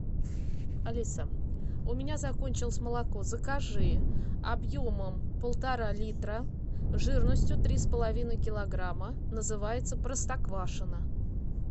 алиса у меня закончилось молоко закажи объемом полтора литра жирностью три с половиной килограмма называется простоквашино